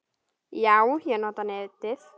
Jú, ég nota netið.